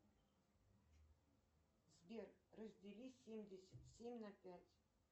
сбер раздели семьдесят семь на пять